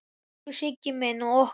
Elsku Siggi minn og okkar.